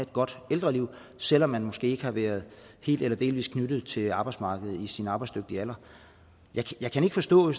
godt ældreliv selv om man måske ikke har været helt eller delvis knyttet til arbejdsmarkedet i sin arbejdsdygtige alder jeg kan ikke forstå